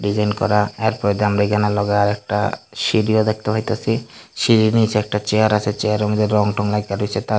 করা এরপর পরে দিয়ে আমরা এইখানের লগে আরেকটা সিঁড়িও দেখতে পাইতাসি সিঁড়ির নীচে একটা চেয়ার আছে চেয়ার এর মধ্যে রং টং লাইগ্যা রইসে তার --